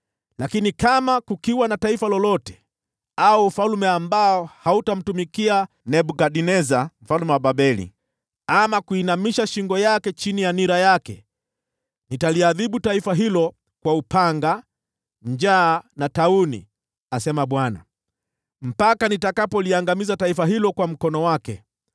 “‘ “Lakini kama kukiwa na taifa lolote au ufalme ambao hautamtumikia Nebukadneza mfalme wa Babeli, ama kuinamisha shingo yake chini ya nira yake, nitaliadhibu taifa hilo kwa upanga, njaa na tauni, asema Bwana , mpaka nitakapoliangamiza taifa hilo kwa mkono wake.